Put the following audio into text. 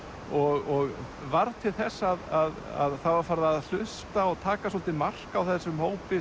og varð til þess að það var farið að hlusta á og taka svolítið mark á þessum hópi